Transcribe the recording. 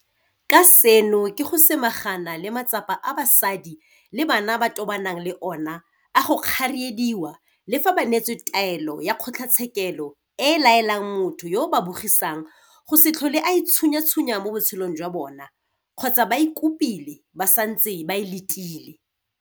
Ka seno ke go samagana le matsapa a basadi le bana ba tobanang le ona a go kgariediwa le fa ba neetswe taelo ya kgotlatshekelo e e laelang motho yo a ba bogisang go se tlhole a itshunyatshunya mo botshelong jwa bona kgotsa ba e kopile ba santse ba e letile.